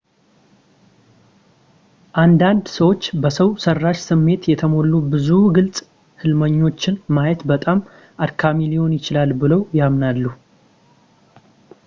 አንዳንድ ሰዎች በሰው ሠራሽ ስሜት የተሞሉ ብዙ ግልጽ ሕልሞችን ማየት በጣም አድካሚ ሊሆን ይችላል ብለው ያምናሉ